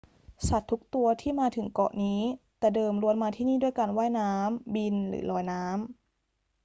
สัตว์ทุกตัวที่มาถึงเกาะนี้แต่เดิมล้วนมาที่นี่ด้วยการว่ายน้ำ บิน หรือลอยน้ำ